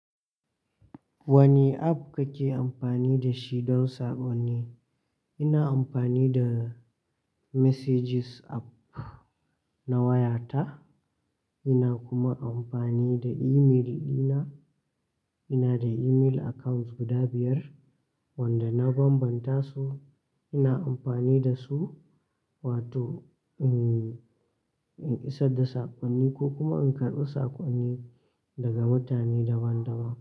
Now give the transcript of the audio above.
Wane app kake amfani da shi don saƙonni? Ina amfani da messages app na wayata. Ina kuma amfani da email ɗina, ina da email accounts guda biyar, wanda na bambanta su. Ina amfani da su Wato in, in isa da saƙonni ko kuma in karɓi saƙonni daga mutane daban-daban.